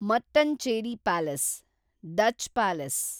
Mattancherry palace, Dutch palace